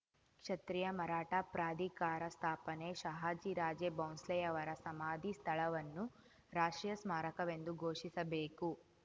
ಕ್ಷತ್ರಿಯ ಮರಾಠ ಪ್ರಾಧಿಕಾರ ಸ್ಥಾಪನೆ ಷಹಾಜಿ ರಾಜೇ ಬೌಂಸ್ಲೆಯವರ ಸಮಾಧಿ ಸ್ಥಳವನ್ನು ರಾಷ್ಟ್ರೀಯ ಸ್ಮಾರಕವೆಂದು ಘೋಷಿಸಬೇಕು